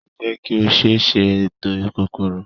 sáyẹnsì jé ki o ṣéé sè ètò kòkòrò.